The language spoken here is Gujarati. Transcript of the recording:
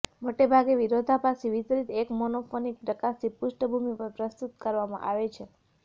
મોટેભાગે વિરોધાભાસથી વિતરિત એક મોનોફોનિક પ્રકાશની પૃષ્ઠભૂમિ પર પ્રસ્તુત કરવામાં આવે છે